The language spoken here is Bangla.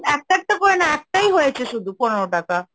একটা একটা করে না, একটাই হয়েছে, শুধু পনেরো টাকা।